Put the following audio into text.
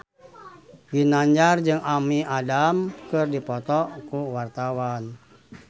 Ginanjar jeung Amy Adams keur dipoto ku wartawan